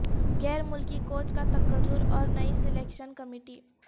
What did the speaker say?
غیر ملکی کوچ کا تقرر اور نئی سلیکشن کمیٹی